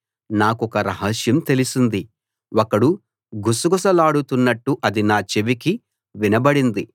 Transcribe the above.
నాకొక రహస్యం తెలిసింది ఒకడు గుసగుసలాడుతున్నట్టు అది నా చెవికి వినబడింది